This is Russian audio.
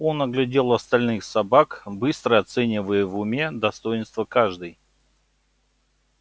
он оглядел остальных собак быстро оценивая в уме достоинства каждой